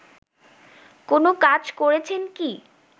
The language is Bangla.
কোনো কাজ করেছেন কি